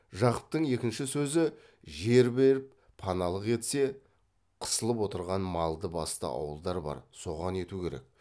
жақыптың екінші сөзі жер беріп паналық етсе қысылып отырған малды басты ауылдар бар соған ету керек